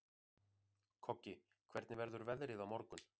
Koggi, hvernig verður veðrið á morgun?